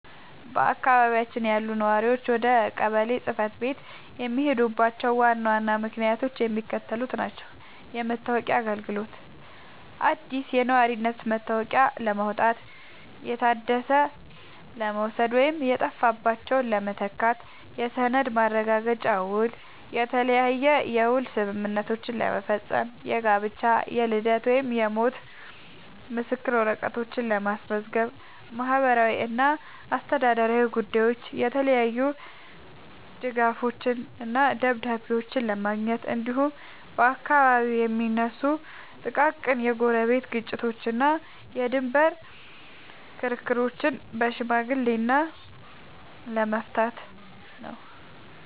በአካባቢያችን ያሉ ነዋሪዎች ወደ ቀበሌ ጽሕፈት ቤት የሚሄዱባቸው ዋና ዋና ምክንያቶች የሚከተሉት ናቸው፦ የመታወቂያ አገልግሎት፦ አዲስ የነዋሪነት መታወቂያ ለማውጣት፣ የታደሰ ለመውሰድ ወይም የጠፋባቸውን ለመተካት። የሰነድ ማረጋገጫና ውል፦ የተለያየ የውል ስምምነቶችን ለመፈረም፣ የጋብቻ፣ የልደት ወይም የሞት ምስክር ወረቀቶችን ለማስመዝገብ። ማህበራዊና አስተዳደራዊ ጉዳዮች፦ የተለያዩ ድጋፎችንና ደብዳቤዎችን ለማግኘት፣ እንዲሁም በአካባቢው የሚነሱ ጥቃቅን የጎረቤት ግጭቶችንና የድንበር ክርክሮችን በሽምግልና ለመፍታት ነው።